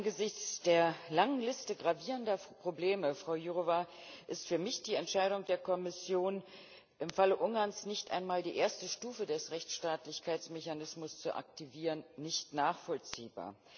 Herr Präsident! Angesichts der langen Liste gravierender Probleme, Frau Jourová, ist für mich die Entscheidung der Kommission, im Falle Ungarns nicht einmal die erste Stufe des Rechtsstaatlichkeitsmechanismus zu aktivieren, nicht nachvollziehbar.